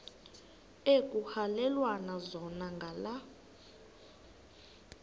ekuhhalelwana zona ngala